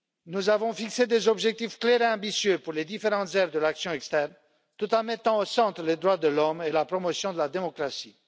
Nous avons fixé des objectifs clairs et ambitieux pour les différentes aires de l'action extérieure, tout en mettant au centre les droits de l'homme et la promotion de la démocratie.